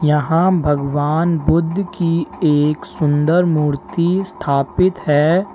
यहां भगवान बुद्ध की एक सुंदर मूर्ति स्थापित है।